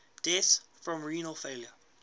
deaths from renal failure